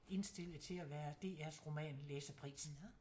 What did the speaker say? Indstille til at være DR's roman læsepris